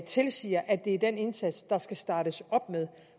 tilsiger at det er den indsats der skal startes op med